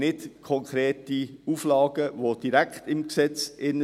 Es gibt aber keine konkreten Auflagen, die direkt im Gesetz sind.